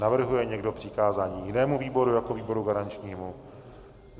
Navrhuje někdo přikázání jinému výboru jako výboru garančnímu?